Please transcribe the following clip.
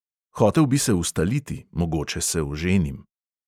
Hotel bi se ustaliti, mogoče se oženim ...